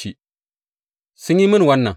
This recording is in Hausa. Sun kuma yi mini wannan.